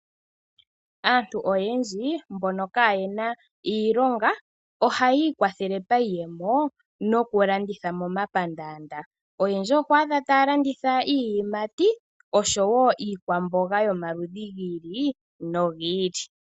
Aantu oyendji mbono kaayena iilonga, ohayi ikwathele paiyemo mokulanditha momapandaanda . Oyendji oho adha taya landitha iiyimati oshowoo iikwamboga yomaludhi giili nogili.